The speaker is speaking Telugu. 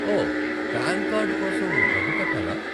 ఓ, ప్యాన్ కార్డు కోసం డబ్బు కట్టాలా?